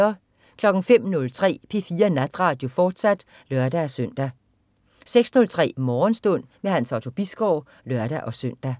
05.03 P4 Natradio, fortsat (lør-søn) 06.03 Morgenstund. Hans Otto Bisgaard (lør-søn)